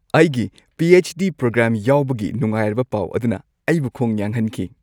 ꯑꯩꯒꯤ P. H. D. Programme ꯌꯥꯎꯕꯒꯤ ꯅꯨꯡꯉꯥꯏꯔꯕ ꯄꯥꯎ ꯑꯗꯨꯅ ꯑꯩꯕꯨ ꯈꯣꯡ ꯌꯥꯡꯍꯟꯈꯤ꯫